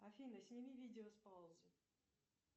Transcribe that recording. афина сними видео с паузы